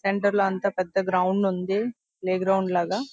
Centre లో అంతా పెద్ద గ్రౌండ్ ఉంది. ప్లేగ్రౌండ్ లాగా--